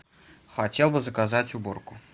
хотел бы заказать уборку